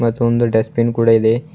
ಮತ್ತೆ ಒಂದು dustbin ಕೂಡ ಇದೆ.